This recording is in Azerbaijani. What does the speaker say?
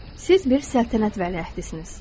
Siz bir səltənət vələhdisiniz.